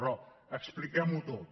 però expliquem ho tot